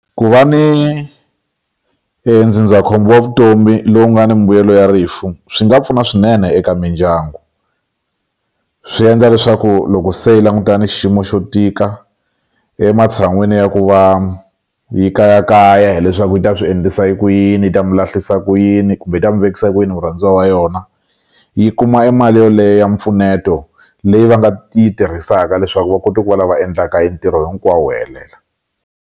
Ku va ni ndzindzakhombo wa vutomi lowu nga ni mimbuyelo ya rifu swi nga pfuna swinene eka mindyangu swi endla leswaku loko se yi langutana ni xiyimo xo tika ematshan'wini ya ku va yi kayakaya hileswaku yi ta swi endlisa ku yini yi ta mu lahlisa ku yini kumbe yi ta mu vekisa ku yini murhandziwa wa yona yi kuma mali yoleyo mpfuneto leyi va nga yi tirhisaka leswaku va kota ku va lava endlaka hi entirho hinkwawo wu helela.